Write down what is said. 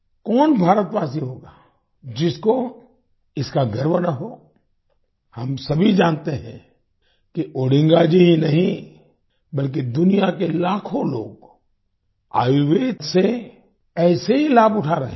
कौन भारतवासी होगा जिसको इसका गर्व ना हो हम सभी जानते हैं कि ओडिंगा जी ही नहीं बल्कि दुनिया के लाखों लोग आयुर्वेद से ऐसे ही लाभ उठा रहे हैं